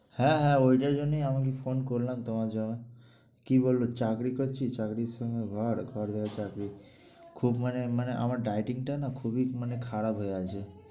হ্যাঁ হ্যাঁ ঐটার জন্যেই আমাকে phone করলাম তোমার কী বলবে, চাকরি করছি চাকরির সময় ঘর ঘর ঘরে চাকরি। খুব মানে মানে আমার dieting টা না খুবই মানে খারাপ হয়ে আছে।